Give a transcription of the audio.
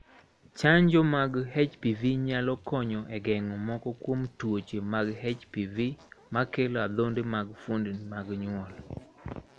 Chanjo mag HPV nyalo konyo e geng'o moko kuom tuoche mag HPV makelo adhonde mag fuondni mag nyuol.